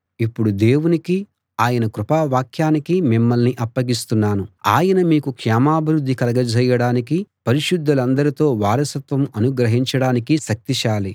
ఇప్పుడు దేవునికీ ఆయన కృపావాక్యానికీ మిమ్మల్ని అప్పగిస్తున్నాను ఆయన మీకు క్షేమాభివృద్ధి కలగజేయటానికీ పరిశుద్ధులందరితో వారసత్వం అనుగ్రహించడానికీ శక్తిశాలి